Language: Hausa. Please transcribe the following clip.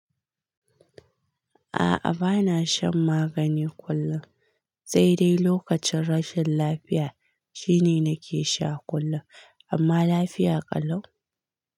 A'a bana shan magani kullum, sai dai lokacin rashin lafiya shine nake sha kullum amma lafiya ƙalau.